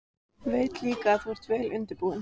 Veit líka að þú ert vel undirbúinn.